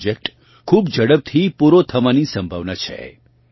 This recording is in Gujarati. આ પ્રોજેક્ટ ખૂબ ઝડપથી પૂરો થવાની સંભાવના છે